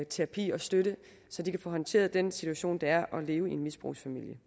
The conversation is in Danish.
terapi og støtte så de kan få håndteret den situation det er at leve i en misbrugsfamilie